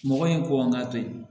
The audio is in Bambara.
Mɔgɔ in kɔn k'a to yen